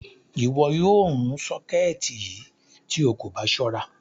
Iwọ́ yóò rún ṣọkẹtì yí tó ó kò bá ṣọ̀ra.